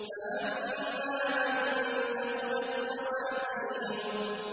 فَأَمَّا مَن ثَقُلَتْ مَوَازِينُهُ